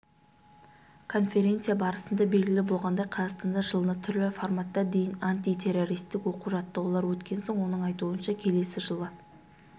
конференция барысында белгілі болғандай қазақстанда жылына түрлі форматта дейін антитеррористік оқу-жаттығулар өткен оның айтуынша келесі жылы